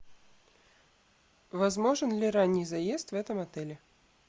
возможен ли ранний заезд в этом отеле